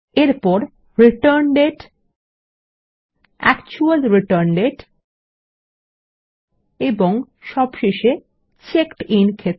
এরপর রিটার্ন দাতে actual return দাতে এবং সবশেষে চেকড আইএন ক্ষেত্র